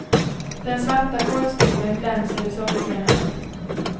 Den svarta kolstybben glänser i solskenet.